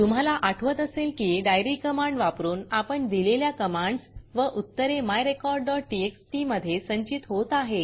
तुम्हाला आठवत असेल की diaryडाइयरी कमांड वापरून आपण दिलेल्या कमांडस व उत्तरे myrecordटीएक्सटी मधे संचित होत आहेत